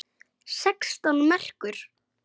Sextán merkur!